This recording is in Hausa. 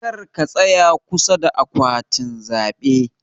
karka tsaya kusa da akwatin zabe.